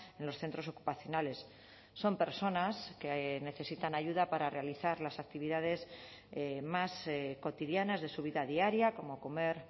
en los centros ocupacionales son personas que necesitan ayuda para realizar las actividades más cotidianas de su vida diaria como comer